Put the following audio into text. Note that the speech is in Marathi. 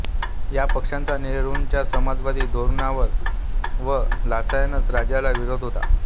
या पक्षाचा नेहरुंच्या समाजवादी धोरणांना व लायसन्स राजला विरोध होता